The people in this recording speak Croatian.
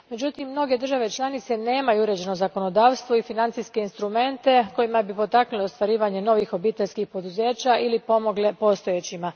Međutim, mnoge države članice nemaju uređeno zakonodavstvo i financijske instrumente kojima bi potakle ostvarivanje novih obiteljskih poduzeća ili pomogle postojećima.